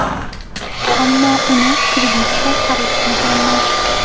Ammo uni kreditga xarid qilganman.